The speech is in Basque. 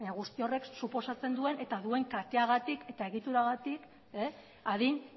guzti horrek suposatzen duen eta duen katearengatik eta egituragatik adin